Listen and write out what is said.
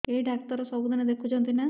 ଏଇ ଡ଼ାକ୍ତର ସବୁଦିନେ ଦେଖୁଛନ୍ତି ନା